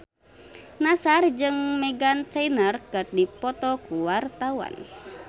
Nassar jeung Meghan Trainor keur dipoto ku wartawan